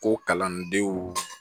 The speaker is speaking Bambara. Ko kalandenw